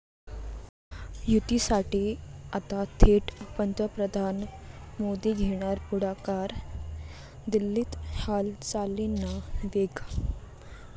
युतीसाठी आता थेट पंतप्रधान मोदी घेणार पुढाकार, दिल्लीत हालचालींना वेग